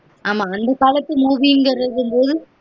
ஆமா அந்த காலத்து movie ங்கிரது போது